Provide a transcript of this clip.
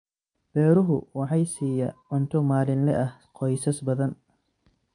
Beeruhu waxay siiya cunto maalinle ah qoysas badan.